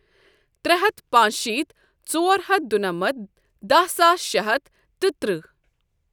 ترٛےٚ ہَتھ پانٛژشیٖتھ ژورہَتھ دُنَمَتھ دَہ ساس شےٚ ہَتھ تہٕ تٕرٛہ۔